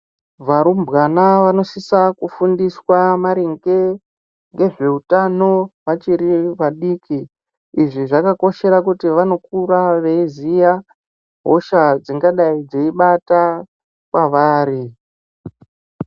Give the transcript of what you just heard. Varumbwana vanosisa kufundiswa maringe ngezvehutano vachiri vadiki izvi zvakakoshera kuti vanokura veiziya hosha dzingadai dzeibata kwavari.